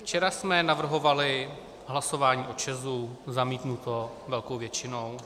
Včera jsme navrhovali hlasování o ČEZu, zamítnuto velkou většinou.